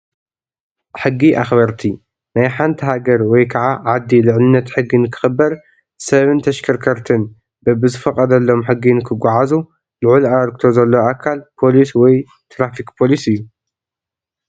ሕጊ ኣኽበርቲ፡- ናይ ሓንቲ ሃገር ወይ ከዓ ዓዲ ልዕልነት ሕጊ ንኽኽበር፣ ሰብን ተሽከርክርትን በቢዝተፈቐደሎም ሕጊ ንኽዓዙ ልዑል ኣበርክቶ ዘለዎ ኣካል ፖሊስ ወይ ት/ፖሊስ እዩ፡፡